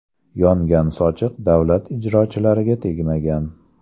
Yongan sochiq davlat ijrochilariga tegmagan.